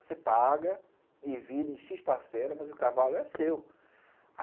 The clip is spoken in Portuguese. Você paga, divide, xis parcelas, mas o cavalo é seu.